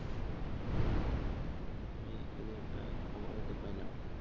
আমি এই যে একটা খবরের মধ্যে পাইলাম আর কি